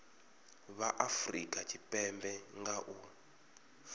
vha afurika tshipembe nga u